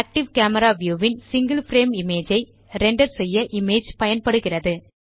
active camera view ன் single frame image ஐ render செய்ய இமேஜ் பயன்படுகிறது